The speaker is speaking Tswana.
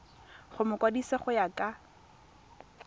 go mokwadise go ya ka